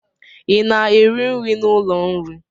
I na-eri nri n'ụlọ nri?